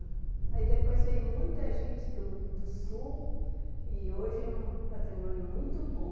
Aí depois veio muita gente do do Sul e hoje é um patrimônio muito bom.